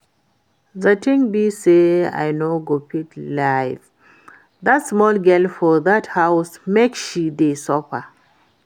The thing be say I no go fit leave dat small girl for dat house make she dey suffer